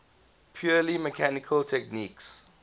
purely mechanical techniques